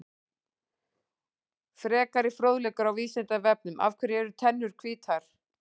Frekari fróðleikur á Vísindavefnum: Af hverju eru tennur hvítar?